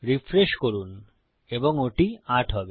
refresh করুন এবং ওটি ৮ হবে